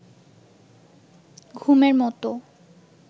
ঘুমের মতো